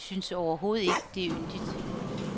De synes overhovedet ikke, det er yndigt.